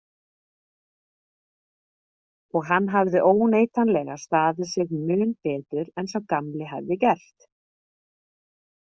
Og hann hafði óneitanlega staðið sig mun betur en sá gamli hefði gert.